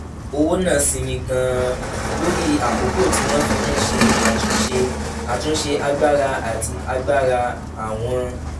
owó náà sinmi gan-an lórí àkókò tí wọ́n fi ń ṣe àtúnṣe àtúnṣe agbára àti agbára àwọn